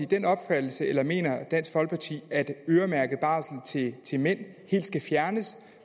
den opfattelse eller mener dansk folkeparti at øremærket barsel til mænd skal fjernes